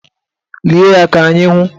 Lie ya ka anyị hụ!